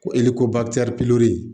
Ko